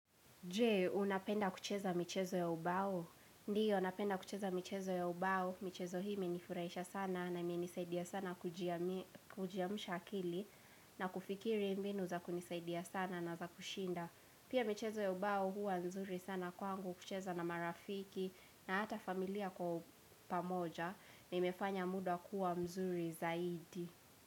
Je, unapenda kucheza michezo ya ubao? Ndiyo, napenda kucheza michezo ya ubao. Michezo hii imenifurahisha sana na imenisaidia sana kujiamsha akili. Na kufikiri mbinu za kunisaidia sana na za kushinda. Pia michezo ya ubao huwa nzuri sana kwangu kucheza na marafiki. Na hata familia kwa pamoja. Na imefanya muda kuwa mzuri zaidi.